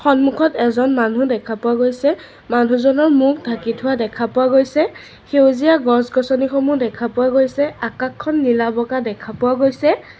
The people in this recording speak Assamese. সন্মুখত এজন মানুহ দেখা পোৱা গৈছে ল'ৰা দুজনৰ মুখ ঢাকি থোৱা দেখা পোৱা গৈছে সেউজীয়া গছ গছনিসমূহ দেখা পোৱা গৈছে আকাশখন নীলা বগা দেখা পোৱা গৈছে।